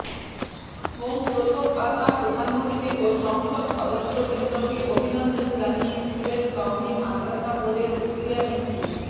home প্রথম পাতা প্রধানমন্ত্রী ও সংসদ সদস্যবৃন্দকে অভিনন্দন জানিয়ে সিলেট কওমি মাদরাসা বোর্ডের শুকরিয়া মিছিল